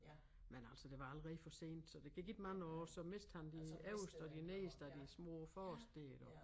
Men altså det var allerede for sent så der gik ikke mange år så mistede han de øverste og de nederste af de små forreste dér iggå